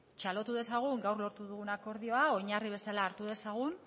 txalotu dezagun gaur lortu dugun akordioa oinarri bezala hartu dezagun